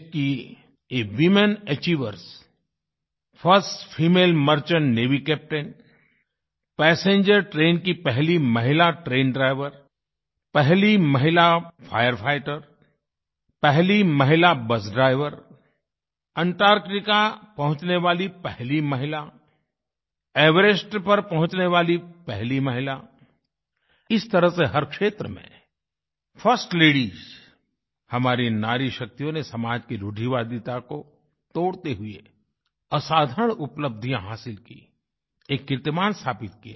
देश की ये women achievers first female merchant navy captain passenger train की पहली महिला ट्रेन ड्राइवर पहली महिला फायर फाइटर पहली महिला बस ड्राइवर अंटार्क्टिका पहुँचने वाली पहली महिला ऐवरेस्ट पर पहुँचने वाली पहली महिला इस तरह से हर क्षेत्र में फर्स्ट लेडीज हमारी नारीशक्तियों ने समाज की रूढ़िवादिता को तोड़ते हुए असाधारण उपलब्धियाँ हासिल की एक कीर्तिमान स्थापित किया